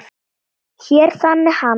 Hér þagnaði hann.